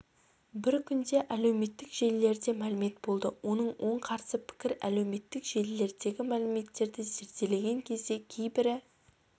бір күнде әлеуметтік желілерде мәлімет болды оның оң қарсы пікір әлеуметтік желілердегі мәліметтерді зерделеген кезде кейбірі